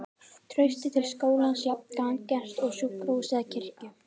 Traustið til skólans jafn gagngert og til sjúkrahúss eða kirkju.